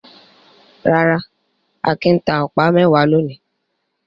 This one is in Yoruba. Rárá, Akin ta ọ̀pá mẹ́wàá lónìí.